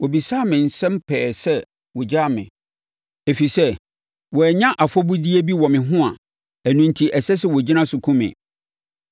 Wɔbisaa me nsɛm pɛɛ sɛ wɔgyaa me, ɛfiri sɛ, wɔannya afɔbudeɛ bi wɔ me ho a ɛno enti ɛsɛ sɛ wɔgyina so kum me.